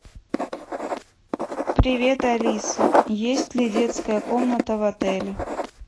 привет алиса есть ли детская комната в отеле